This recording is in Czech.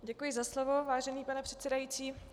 Děkuji za slovo, vážený pane předsedající.